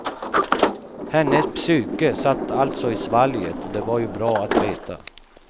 Hennes psyke satt alltså i svalget och det var ju bra att veta.